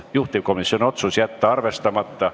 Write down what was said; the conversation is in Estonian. Juhtivkomisjoni otsus: jätta arvestamata.